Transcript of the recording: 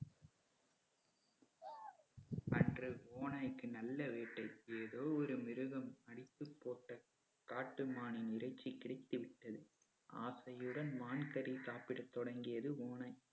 அன்று ஓநாய்க்கு நல்ல வேட்டை ஏதோ ஒரு மிருகம் அடித்துப் போட்ட காட்டு மானின் இறைச்சி கிடைத்துவிட்டது ஆசையுடன் மான் கறி சாப்பிட தொடங்கியது ஓநாய்